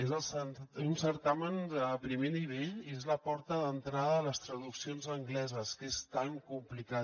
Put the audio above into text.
és un certamen de primer nivell i és la porta d’entrada a les traduccions angleses que és tan complicat